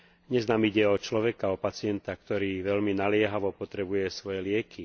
Dnes nám ide o človeka, o pacienta, ktorý veľmi naliehavo potrebuje svoje lieky.